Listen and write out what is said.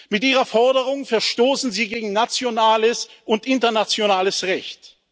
Mit Ihrer Forderung verstoßen Sie gegen nationales und internationales Recht.